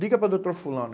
Liga para o doutor fulano.